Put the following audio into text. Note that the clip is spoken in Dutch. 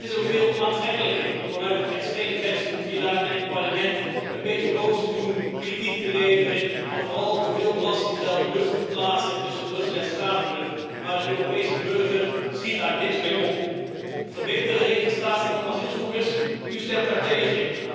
Het is ook veel aantrekkelijker om vanuit het extreemrechtse hoekje daar in het Parlement een beetje boos te doen, kritiek te leveren en vooral voor veel belastinggeld lucht te verplaatsen tussen Brussel en Straatsburg. Maar de Europese burger schiet daar niks mee op. Verbeterde registratie van asielzoekers u stemt daartegen.